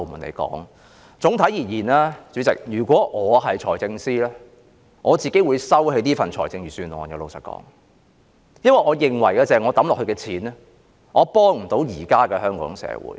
主席，總的來說，如果我是財政司司長，老實說，我會收回這份財政預算案，因為我認為我所花的錢無法幫助現時的香港社會。